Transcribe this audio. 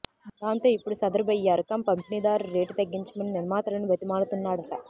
దాంతో ఇప్పుడు సదరు బయ్యారు కం పంపిణీదారు రేటు తగ్గించమని నిర్మాతలని బతిమాలుతున్నాడట